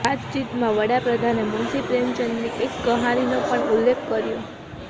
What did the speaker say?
વાતચીતમાં વડાપ્રધાને મુંશી પ્રેમચંદની એક કહાનીનો પણ ઉલ્લેખ કર્યો